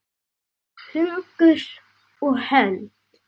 Hugur og hönd.